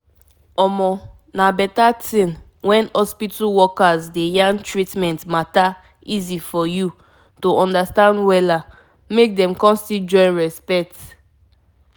you gats ask ask hospitals hospitals which care them dey give after treatment so that dem go gain from all the services wey dem dey give